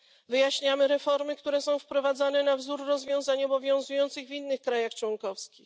Wyjaśniamy reformy, które są wprowadzane na wzór rozwiązań obowiązujących w innych krajach członkowskich.